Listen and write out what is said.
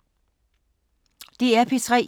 DR P3